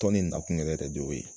Tɔn nin nakun yɛrɛ ye